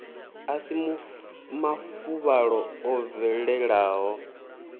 a si mafuvhalo o bvelelaho